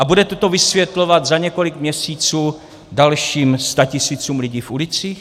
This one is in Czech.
A budete to vysvětlovat za několik měsíců dalším statisícům lidí v ulicích?